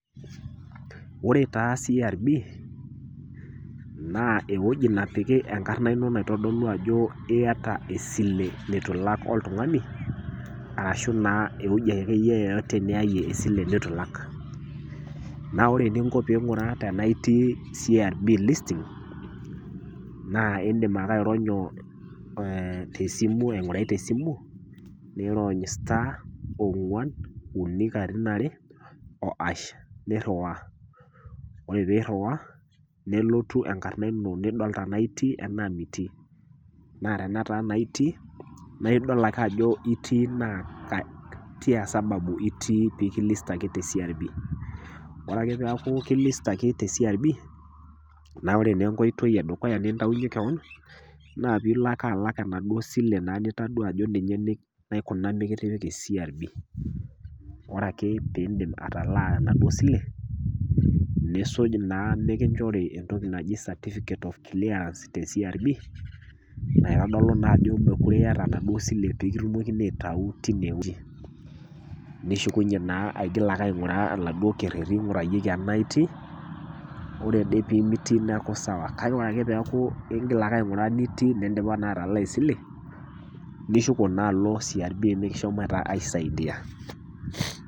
Ore taa CRB naa ewueji napiki enkarna ino naitodolu ajo iata esile neitu ilak oltung'ani, ashu naa ewueji ake iyie yeyote niayie esile neitu ilak, naa ore eninko pee ing'uraa tanaa itii CRB listing naa indim ake aironyo te simu aingurai te simu, neirony star ongwan, uni katitin are o hash neiriwaa, ore pee iriwaa nelotu enkarna ino niidol tanaa itii anaa mitii, naa tenaa keata naa itii, naa idol ake ajo itii naa tiaa sababu pekilistaki te CRB. Ore ake pee eaku kilistaki te CRB, naa ore naa enkoitoi e dukuya nintaunye kewon naa piilo ake alak enaduo sile naa nitadua ajo ninye naikuna mekitipiki CRB. Ore ake pee indip atalaa enaduo sile, niisuj naa mekinchori entoki naji certificate of clearance te CRB, naitodolu naa ajo mekuree iata enaduo sile pee kitumokini aitayu teine wueji, nishukujye naa ainguraa laduo kereti oingurayioko tanaa itii, ore ade pee mitii neaku sawa , kake Kore ake peaku ing'il ake ainguraa nitii nindipa naa atalaa esile nishuko naa alo CRB mekishomo naa aisaidia.